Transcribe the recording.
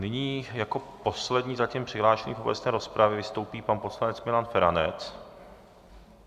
Nyní jako poslední zatím přihlášený do obecné rozpravy vystoupí pan poslanec Milan Feranec.